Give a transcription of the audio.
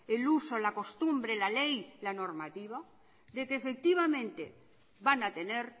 el uso la costumbre la ley la normativa de que efectivamente van a tener